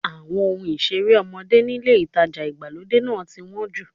Àwọn ohun ìṣeré ọmọdé nílé ìtajà ìgbàlódé náà ti wọ́n jù.